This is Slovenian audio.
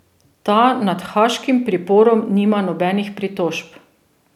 Ta nad haaškim priporom nima nobenih pritožb.